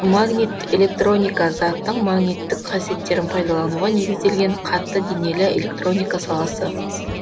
магнитоэлектроника заттың магниттік қасиеттерін пайдалануға негізделген катты денелі электроника саласы